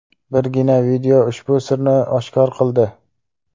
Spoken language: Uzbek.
Birgina video ushbu sirni oshkor qildi .